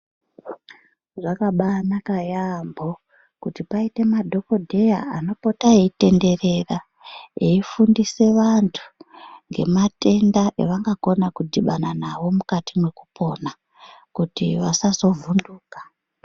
Zvakabaanaka yaampho, kuti paite madhokodheya ,anopota eitenderera, eifundise vantu ngematenda evangakona kudhibana nawo mukati mwekupona, kuti vasazovhunduka.